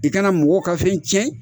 I kana mɔgɔw ka fɛn tiɲɛ